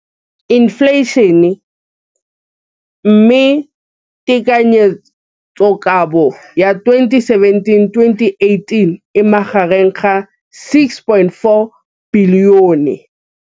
Infleišene, mme tekanyetsokabo ya 2017 2018 e magareng ga 6.4 bilione.